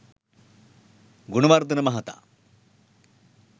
ගුණවර්ධන මහතා